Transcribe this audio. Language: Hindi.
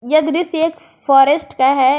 यह दृश्य एक फॉरेस्ट का है।